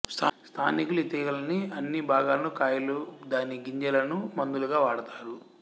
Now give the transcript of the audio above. స్థానికులు ఈ తీగలని అన్ని బాగాలను కాయలు దాని గింజలను మందులుగా వాడుతారు